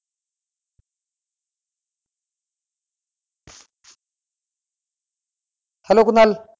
hello Kunal